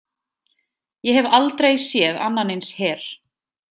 Ég hef aldrei séð annan eins her.